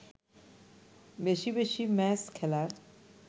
বেশি বেশি ম্যাচ খেলার